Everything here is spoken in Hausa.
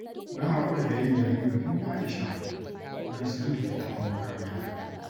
Na haƙura da yin yayin bikin aisha don siyan littattafan makaranta